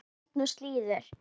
Ég held nú slíður!